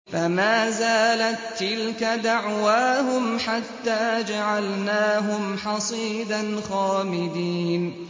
فَمَا زَالَت تِّلْكَ دَعْوَاهُمْ حَتَّىٰ جَعَلْنَاهُمْ حَصِيدًا خَامِدِينَ